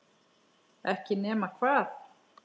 Ekki nema hvað?